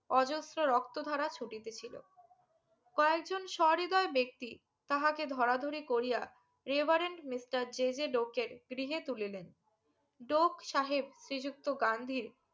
অজস্র রক্ত ধারা ছুটেছিলো কয়েকজন স্বহৃদয় ব্যক্তি তাহাকে ধরাধরি করিয়া রেবারেন্ট মিস্টার জেজে ডোকেন গৃহে তুলিলেন ডোক সাহেব শ্রী যুক্ত গান্ধীর